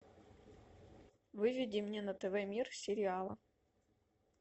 выведи мне на тв мир сериалы